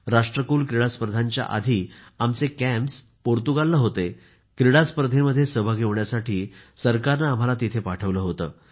राष्ट्रकुल क्रीडा स्पर्धांच्या आधि आमचे कॅंम्प पोर्तुगालला होते क्रीडा स्पर्धांमध्ये सहभागी होण्यासाठी सरकारने आम्हाला तिथे पाठवले होते